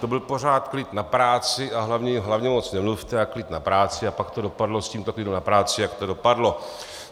To byl pořád klid na práci, a hlavně moc nemluvte a klid na práci, a pak to dopadlo s tímto klidem na práci, jak to dopadlo.